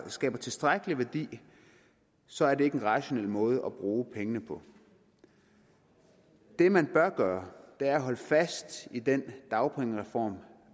skaber tilstrækkelig værdi så er det ikke en rationel måde at bruge pengene på det man bør gøre er at holde fast i den dagpengereform